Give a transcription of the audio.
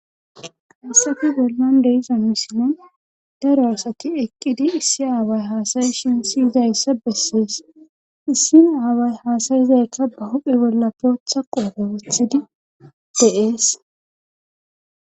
Heyssafe bollan de7iza misilen daro asati eqqidi issi aaway haasa7ishin si7idayssa bessees issi aaway haasa7izaykk ba huuphe bolla bootha qoobe wothidi de7ees.